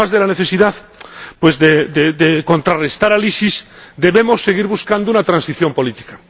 Además de la necesidad de contrarrestar al EI, debemos seguir buscando una transición política.